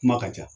Kuma ka ca